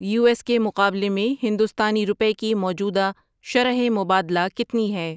you S کے مقابلے میں ہندوستانی رپئے کی موجودہ شرح مبادلہ کتنی ہے